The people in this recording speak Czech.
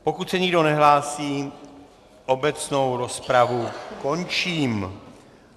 Pokud se nikdo nehlásí, obecnou rozpravu končím.